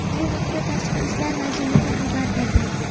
Bu haqda Tashqi ishlar vazirligi xabar berdi.